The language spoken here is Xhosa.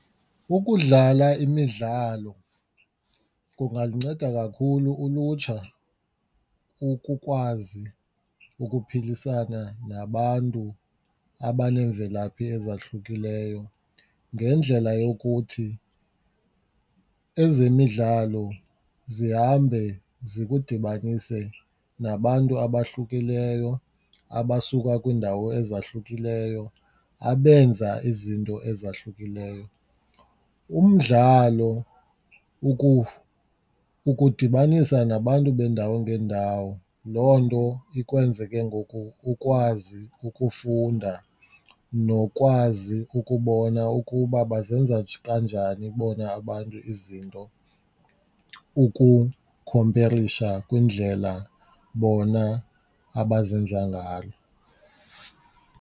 UIkudlala imidlalo kungaluncedo kakhulu ulutsha ukukwazi ukuphilisana nabantu abaneemvelaphi ezahlukileyo ngendlela yokuthi ezemidlalo zihambe zikudibanise nabantu abahlukileyo abasuka kwiindawo ezahlukileyo, abenza izinto ezahlukileyo. Umdlalo ukudibanisa nabantu beendawo ngeendawo loo nto ikwenza ke ngoku ukwazi ukufunda nokwazi ukubona ukuba bazenza kanjani bona abantu izinto ukukhomperisha kwindlela bona abazenza ngayo.